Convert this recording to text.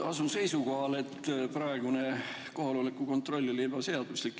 Asun seisukohale, et praegune kohaloleku kontroll oli ebaseaduslik.